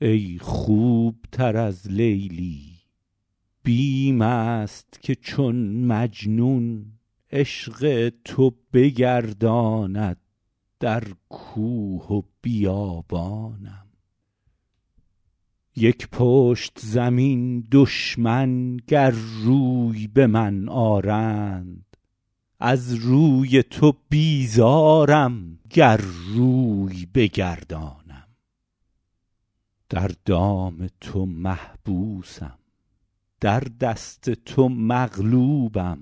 ای خوب تر از لیلی بیم است که چون مجنون عشق تو بگرداند در کوه و بیابانم یک پشت زمین دشمن گر روی به من آرند از روی تو بیزارم گر روی بگردانم در دام تو محبوسم در دست تو مغلوبم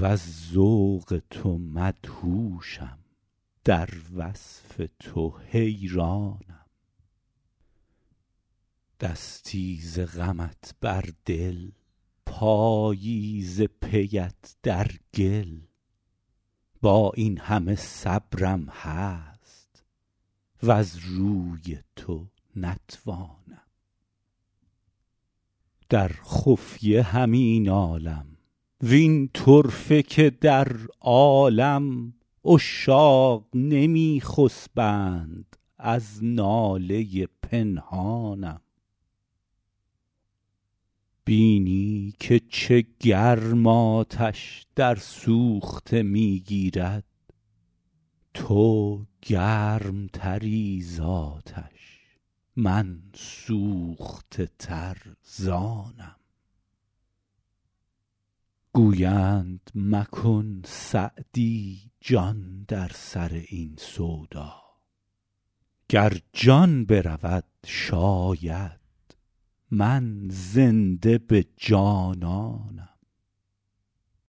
وز ذوق تو مدهوشم در وصف تو حیرانم دستی ز غمت بر دل پایی ز پی ات در گل با این همه صبرم هست وز روی تو نتوانم در خفیه همی نالم وین طرفه که در عالم عشاق نمی خسبند از ناله پنهانم بینی که چه گرم آتش در سوخته می گیرد تو گرم تری زآتش من سوخته تر ز آنم گویند مکن سعدی جان در سر این سودا گر جان برود شاید من زنده به جانانم